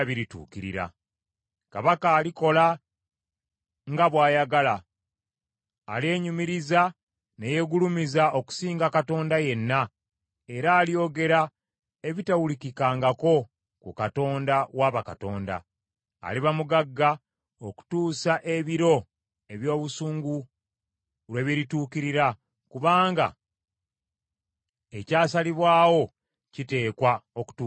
“Kabaka alikola nga bw’ayagala. Alyenyumiriza ne yeegulumiza okusinga katonda yenna, era alyogera ebitawulikikangako ku Katonda wa bakatonda. Aliba mugagga okutuusa ebiro eby’obusungu lwe birituukirira, kubanga ekyasalibwawo kiteekwa okutuukirira.